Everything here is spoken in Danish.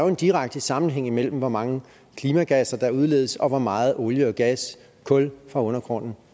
en direkte sammenhæng imellem hvor mange klimagasser der udledes og hvor meget olie gas og kul fra undergrunden